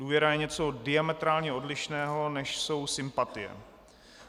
Důvěra je něco diametrálně odlišného, než jsou sympatie.